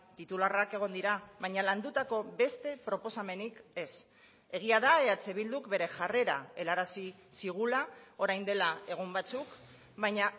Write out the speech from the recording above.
titularrak egon dira baina landutako beste proposamenik ez egia da eh bilduk bere jarrera helarazi zigula orain dela egun batzuk baina